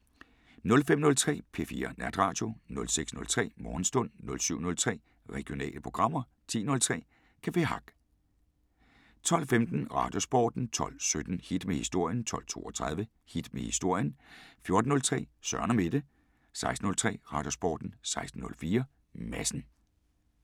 05:03: P4 Natradio 06:03: Morgenstund 07:03: Regionale programmer 10:03: Café Hack 12:15: Radiosporten 12:17: Hit med historien 12:32: Hit med historien 14:03: Søren & Mette 16:03: Radiosporten 16:04: Madsen